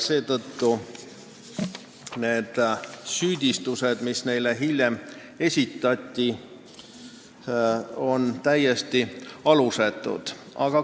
Seetõttu need süüdistused, mis neile hiljem esitati, on täiesti alusetud.